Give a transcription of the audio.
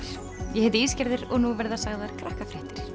ég heiti og nú verða sagðar Krakkafréttir